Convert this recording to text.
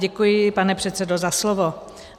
Děkuji, pane předsedo, za slovo.